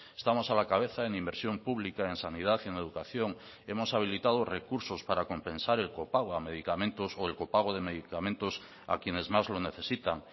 estamos a la cabeza en inversión pública en sanidad y en educación hemos habilitado recursos para compensar el copago a medicamentos o el copago de medicamentos a quienes más lo necesitan